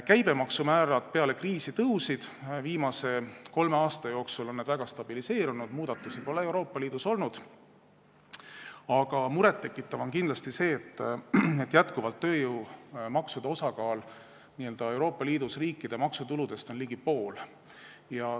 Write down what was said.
Käibemaksu määrad peale kriisi tõusid, viimase kolme aasta jooksul on nad stabiliseerunud, muudatusi pole Euroopa Liidus olnud, aga muret tekitav on kindlasti see, et jätkuvalt on tööjõumaksude osakaal Euroopa Liidu riikide maksutuludes ligi pool.